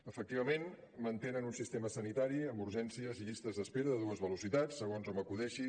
efectivament mantenen un sistema sanitari amb urgències i llistes d’espera de dues velocitats segons hom acudeixi